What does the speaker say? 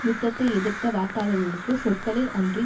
யுத்தத்தை எதிர்த்த வாக்காளர்களுக்கு சொற்களில் அன்றி